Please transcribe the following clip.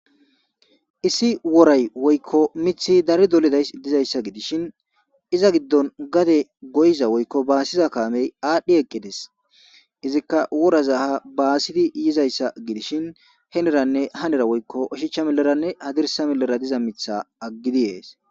Issi woray woykko mithi dari doleday dizayssa gidishin iza giddon gade goyza woykko baasiza kaamey aadhdhi eqqedes izikka woraza ha baasidi yizayssa gidishin heneranne hanera woykko oshichcha meleranne hadirsa mellera diza mitha aggidi ees.